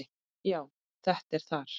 Já, þetta er þar